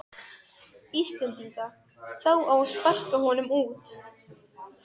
Íslendinga, þá á að sparka honum út.